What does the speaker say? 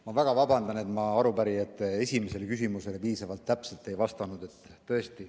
Ma väga vabandan, et ma arupärijate esimesele küsimusele piisavalt täpselt ei vastanud.